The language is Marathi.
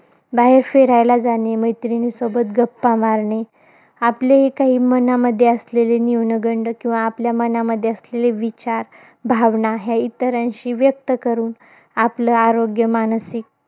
बाहेर फिरायला जाणे, मैत्रिणीसोबत गप्पा मारणे, आपल्याही काही मनामध्ये असलेले, न्यूनगंड, किंवा आपल्या मनामध्ये असलेले विचार, भावना ह्या इतरांशी व्यक्त करून, आपलं आरोग्य मानसिक,